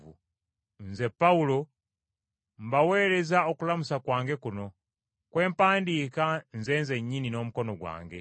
Nze, Pawulo, mbaweereza okulamusa kwange kuno, kwe mpandiika nze nzennyini n’omukono gwange.